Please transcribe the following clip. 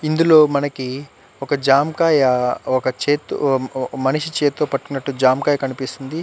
ఇందులో మనకి ఒక జామకాయ్ ఒక చేత్తో ఒక మనిషి చేత్తో పట్టినట్టు జామకాయ కనిపిస్తుంది.